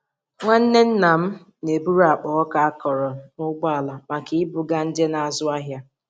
Nwanne nnam na-eburu akpa ọka akọrọ n'ụgbọala maka ibuga ndị na-azụ ahịa.